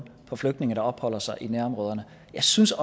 på flygtninge der opholder sig i nærområderne jeg synes